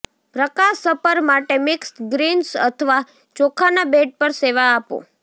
પ્રકાશ supper માટે mix greens અથવા ચોખાના બેડ પર સેવા આપો